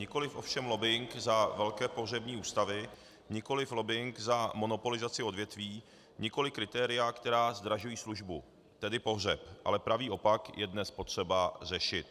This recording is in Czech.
Nikoliv ovšem lobbing za velké pohřební ústavy, nikoliv lobbing za monopolizaci odvětví, nikoliv kritéria, která zdražují službu, tedy pohřeb, ale pravý opak je dnes potřeba řešit.